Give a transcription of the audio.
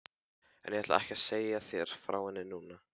En ég ætla ekki að segja þér frá henni núna.